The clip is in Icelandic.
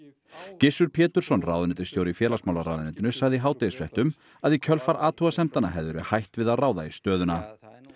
Gissur Pétursson ráðuneytisstjóri í félagsmálaráðuneytinu sagði í hádegisfréttum að í kjölfar athugasemdanna hefði verið hætt við að ráða í stöðuna